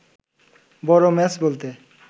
বড় ম্যাচ বলতে